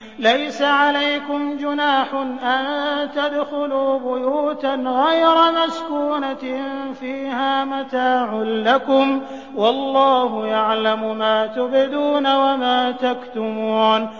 لَّيْسَ عَلَيْكُمْ جُنَاحٌ أَن تَدْخُلُوا بُيُوتًا غَيْرَ مَسْكُونَةٍ فِيهَا مَتَاعٌ لَّكُمْ ۚ وَاللَّهُ يَعْلَمُ مَا تُبْدُونَ وَمَا تَكْتُمُونَ